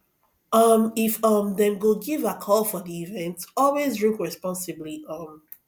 um if um dem go give alcohol for di event always drink responsibly um